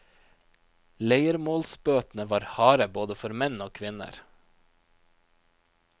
Leiermålsbøtene var harde både for menn og kvinner.